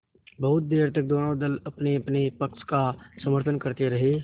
बहुत देर तक दोनों दल अपनेअपने पक्ष का समर्थन करते रहे